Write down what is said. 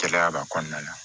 Gɛlɛya b'a kɔnɔna na